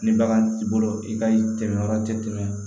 Ni bagan t'i bolo i ka tɛmɛ yɔrɔ tɛ tɛmɛ